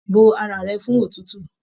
Bó ara rẹ fún òtútù!